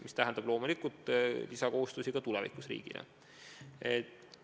See tähendab tulevikus loomulikult lisakohustusi ka riigile.